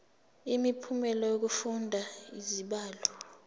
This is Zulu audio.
imiphumela yokufunda izibalo